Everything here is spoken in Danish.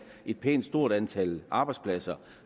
et pænt stort antal arbejdspladser